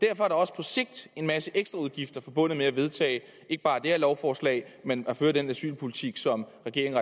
er der også på sigt en masse ekstraudgifter forbundet med at vedtage ikke bare det her lovforslag men at føre den asylpolitik som regeringen